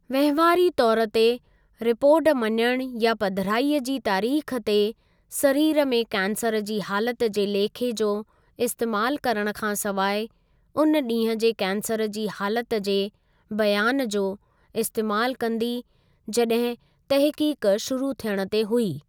वहिंवारी तौर ते, रिपोर्ट मञणु या पधिराईअ जी तारीख़ ते सरीरु में कैंसर जी हालति जे लेखे जो इस्तेमालु करण खां सवाइ उन ॾींहुं जे कैंसर जी हालत जे बयान जो इस्तेमालु कंदी जॾहिं तहक़ीक़ शुरू थियण ते हुई।